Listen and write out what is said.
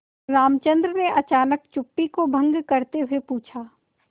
रामचंद्र ने अचानक चुप्पी को भंग करते हुए पूछा